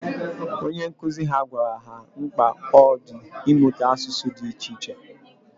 Onye nkuzi ha gwara ha mkpa ọ dị ịmụta asụsụ dị iche iche.